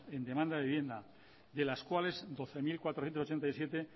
en demanda de vivienda de las cuales doce mil cuatrocientos ochenta y siete